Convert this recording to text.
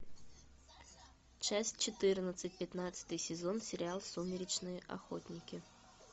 часть четырнадцать пятнадцатый сезон сериал сумеречные охотники